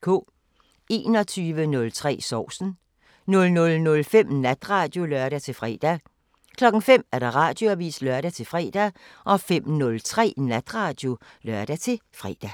21:03: Sovsen 00:05: Natradio (lør-fre) 05:00: Radioavisen (lør-fre) 05:03: Natradio (lør-fre)